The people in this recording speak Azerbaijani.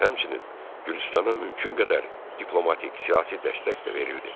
Həmçinin, Gürcüstana mümkün qədər diplomatik, siyasi dəstək də verildi.